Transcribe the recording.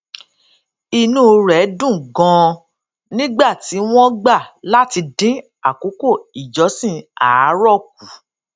inú rè dùn ganan nígbà tí wón gbà láti dín àkókò ìjọsìn àárò kù